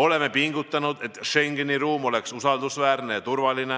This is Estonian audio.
Oleme pingutanud, et Schengeni ruum oleks usaldusväärne ja turvaline,